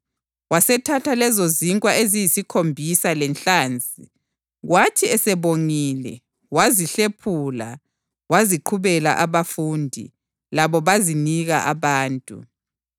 Wasethatha lezozinkwa eziyisikhombisa lenhlanzi, kwathi esebongile, wazihlephula waziqhubela abafundi, labo bazinika abantu.